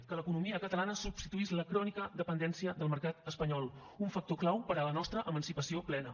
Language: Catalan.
que l’economia catalana substituís la crònica dependència del mercat espanyol un factor clau per a la nostra emancipació plena